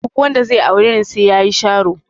Duk wanda zai aure ni sai yayi sharo.